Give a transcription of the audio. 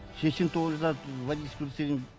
сексен тоғызда водительский удостоверение